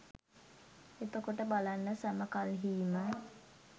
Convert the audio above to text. එතකොට බලන්න සැම කල්හී ම